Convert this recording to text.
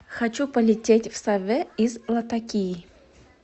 хочу полететь в саве из латакии